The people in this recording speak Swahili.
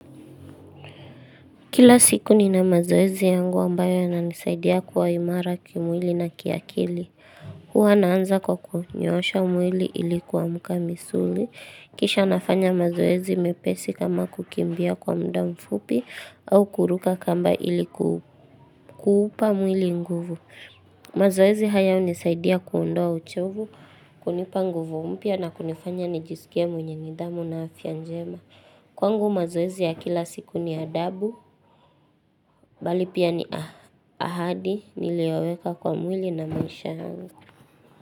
Kila siku ni na mazoezi yangu ambayo yananisaidia kuwa imara kimwili na kiakili. Huwa naanza kwa kunyoosha mwili ili kuamka misuli. Kisha nafanya mazoezi mepesi kama kukimbia kwa muda mfupi au kuruka kamba ilikuupa mwili nguvu. Mazoezi haya hunisaidia kuondoa uchovu, kunipa nguvu mpya na kunifanya nijisikie mwenye nidhamu na afya njema. Kwangu mazoezi ya kila siku ni adabu, bali pia ni ahadi niliyoweka kwa mwili na maisha yangu.